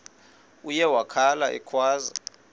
uye wakhala ekhwaza